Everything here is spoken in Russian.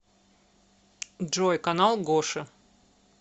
джой канал гоши